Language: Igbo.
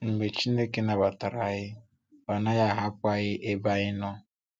Mgbe Chineke nabatara anyị, ọ naghị ahapụ anyị ebe anyị nọ.